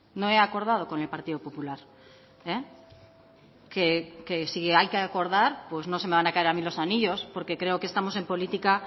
no he acordado con el partido popular que si hay que acordar pues no se me van a caer a mí los anillos porque creo que estamos en política